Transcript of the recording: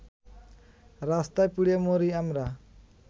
রাস্তায় পুড়ে মরি আমরা